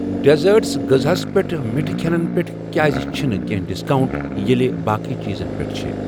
ڈیزأرٹھ غٕزہَس پیٚٹھ مِٹھٕ کھیٚنن پٮ۪ٹھ کیٛازِ چھنہٕ کینٛہہ ڈسکاونٹ ییٚلہِ باقٕے چیزن پٮ۪ٹھ چھِ۔